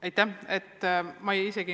Aitäh!